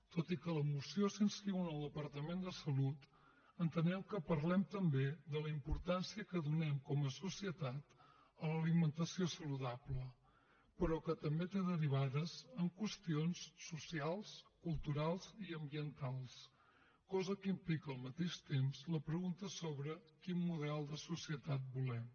tot i que la moció s’inscriu en el departament de salut entenem que parlem també de la importància que donem com a societat a l’alimentació saludable però que també té derivades en qüestions socials culturals i ambientals cosa que implica al mateix temps la pregunta sobre quin model de societat volem